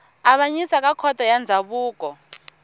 avanyisa ka khoto ya ndzhavuko